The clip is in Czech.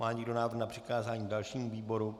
Má někdo návrh na přikázání dalšímu výboru?